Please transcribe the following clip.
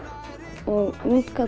og útkall